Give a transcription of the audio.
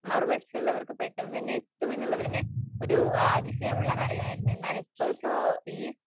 മറുവശത്തുള്ളവർക്ക് പെട്ടെന്ന് തന്നെ എത്തും എന്നുള്ളത് തന്നെ ഒരു അഅതിശയമുള്ള കാര്യം ആയിരുന്നു എന്നാൽ ഇപ്പൊഇപ്പൊ ഈ